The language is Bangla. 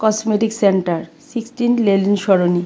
Cosmetic centre sixteen Lenin Sarani.